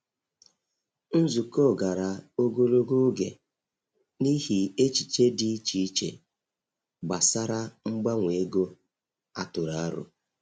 Nzukọ gara ogologo oge n’ihi echiche dị iche iche gbasara mgbanwe ego a tụrụ aro.